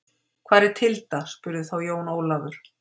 Hvar er Tilda spurði þá Jón Ólafur.